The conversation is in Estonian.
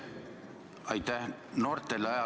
Aitäh!